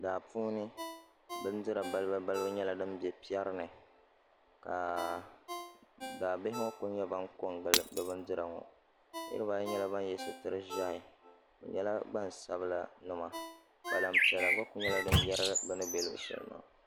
Daa puuni bindira balibu balibu nyɛla din bɛ piɛri ni ka daabihi ŋo ku ko n gili bi bindira ŋo niraba ayi nyɛla ban yɛ sitiri ʒiɛhi bi nyɛla gbansabila nima kpalan piɛla ŋo ku nyɛla din yɛrigi bi ni bɛ luɣu shɛli maa